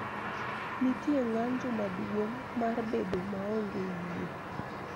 Nitie ng�anjo maduong� mar bedo maonge yie